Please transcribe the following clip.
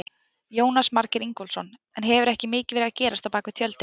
Jónas Margeir Ingólfsson: En hefur ekki mikið verið að gerast á bakvið tjöldin?